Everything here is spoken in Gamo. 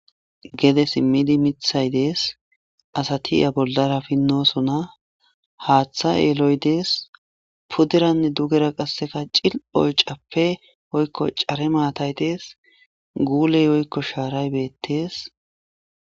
Gede simmidi mithay dees asati ya bollara pinnosona haaththa yeeloy dees pudranne dugera qasseka cil oycappe oykko care maatay dees guuley oykko shaaray beettees.